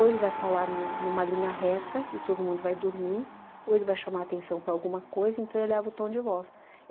Ou ele vai falar em uma em uma linha reta e todo mundo vai dormir, ou ele vai chamar atenção para alguma coisa, então eleva o tom de voz.